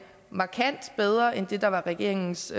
markant bedre end det der var regeringens